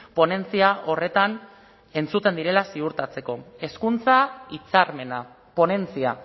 ponentzia horretan entzuten direla ziurtatzeko hezkuntza hitzarmena ponentzia